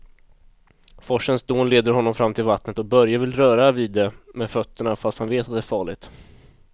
Forsens dån leder honom fram till vattnet och Börje vill röra vid det med fötterna, fast han vet att det är farligt.